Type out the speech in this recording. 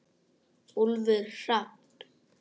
Úlfur Hrafn.